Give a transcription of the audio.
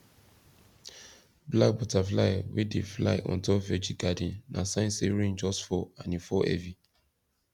black butterfly wey dey fly on top veggie garden na sign say rain just fall and e fall heavy